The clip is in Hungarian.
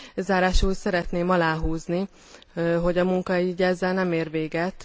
Zárásul szeretném aláhúzni, hogy a munka így ezzel nem ér véget.